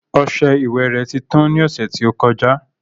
Ọsẹ ìwẹ̀ rẹ̀ ti tán ní ọ̀sẹ̀ tí ó kọjá